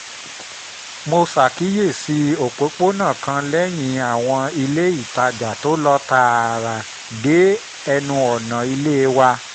mo ṣàkíyèsí òpópónà kan lẹ́yìn àwọn ilé-ìtajà tó lọ tààrà dé ẹnu ọ̀nà ilé wa